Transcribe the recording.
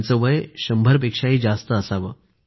त्यांचं वय 100 पेक्षा जास्त होतं